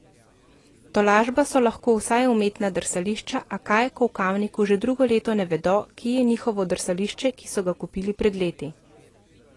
Tolažba so lahko vsaj umetna drsališča, a kaj, ko v Kamniku že drugo leto ne vedo, kje je njihovo drsališče, ki so ga kupili pred leti.